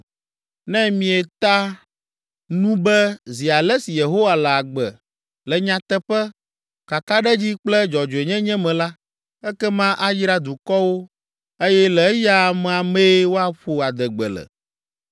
Ne mieta nu be ‘Zi ale si Yehowa le agbe’ le nyateƒe, kakaɖedzi kple dzɔdzɔenyenye me la, ekema ayra dukɔwo eye le eya amea mee woaƒo adegbe le.”